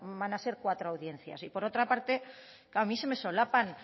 van a ser cuatro audiencias y por otra parte a mí se me solapan